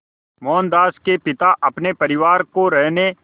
मोहनदास के पिता अपने परिवार को रहने